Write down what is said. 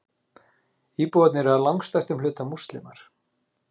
Íbúarnir eru að langstærstum hluta Múslimar